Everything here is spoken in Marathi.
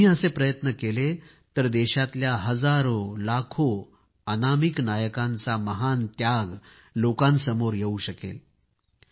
तुम्ही असे प्रयत्न केले तर देशातल्या हजारो लाखो अनामिक नायकांचा महान त्याग लोकांसमोर येवू शकेल